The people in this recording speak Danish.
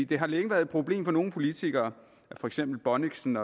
det har længe været et problem for nogle politikere at for eksempel bonnichsen